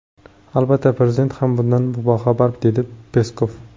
Albatta, prezident ham bundan boxabar”, dedi Peskov.